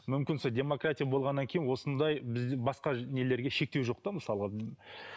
мүмкін сол демократия болғаннан кейін осындай біз басқа нелерге шектеу жоқ та мысалға